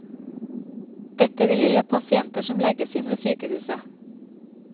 Dette vil gjelde pasienter som legges inn ved sykehuset.